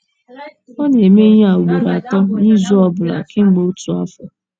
Ọ na - eme ihe a ugboro atọ n’izu ọ bụla kemgbe otu afọ.